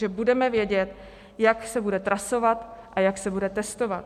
Že budeme vědět, jak se bude trasovat a jak se bude testovat.